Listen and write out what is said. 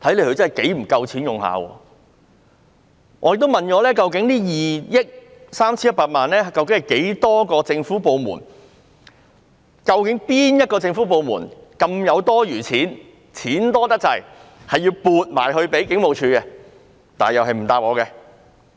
我也詢問過，究竟這2億 3,100 萬元由多少個政府部門撥出，哪些政府部門有這麼多多餘錢撥予警務處，但他們同樣不答覆我。